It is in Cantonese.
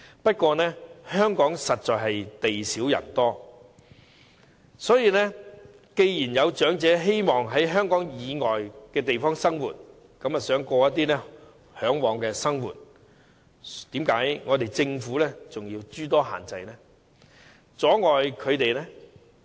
不過，香港實在地少人多，既然有長者希望在香港以外地方過其嚮往的生活，政府為何仍要諸多限制，阻礙他們呢？